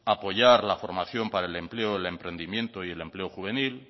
apoyar la formación para el empleo el emprendimiento y el empleo juvenil